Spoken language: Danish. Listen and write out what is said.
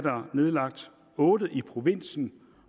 nedlagt otte i provinsen